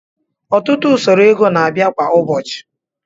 Ọtụtụ usoro ego na-abịa kwa ụbọchị